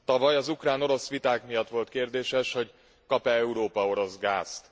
Tavaly az ukrán orosz viták miatt volt kérdéses, hogy kap e Európa orosz gázt.